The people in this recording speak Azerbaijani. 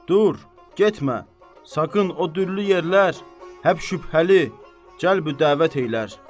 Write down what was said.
Dur, getmə! Saqın o dürlü yerlər həp şübhəli, cəlbü-dəvət eylər.